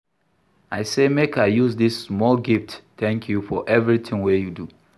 I say make I use dis small gift tank you for evertin wey you do.